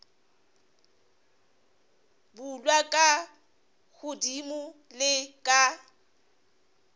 bulwa ka godimo le ka